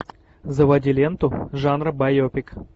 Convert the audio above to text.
заводи ленту жанра байопик